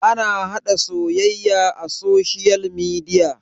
ana haɗa soyayya a soshiyal midia